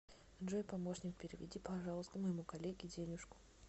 джой помощник переведи пожалуйста моему коллеге денежку